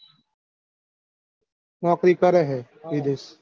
નોકરી કરે હે વિદેશ.